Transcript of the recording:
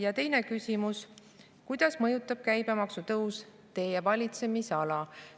Ja teine küsimus: kuidas mõjutab käibemaksu tõus teie valitsemisala?